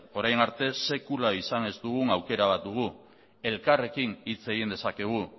orain arte sekula izan ez dugun aukera bat dugu elkarrekin hitz egin dezakegu